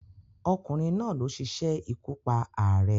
Ọkùnrin náà ló sisé ikú pa ààrẹ